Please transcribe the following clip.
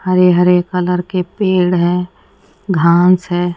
हरे हरे कलर के पेड़ है घांस है।